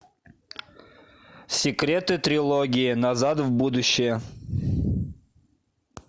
секреты трилогии назад в будущее